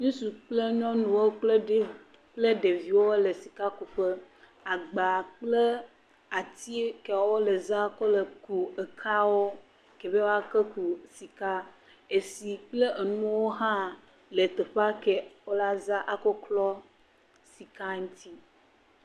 Ŋutsu kple nyɔnu kple ɖeviwo le sika ku ƒe. Agba kple atike wo le zam kɔ le ku ekeawo ke be woa kɔ kɔ sika. Etsi kple enuwo wo la za akɔklɔ sika ŋuti.